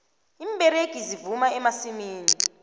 iimberegi zivuna emasimini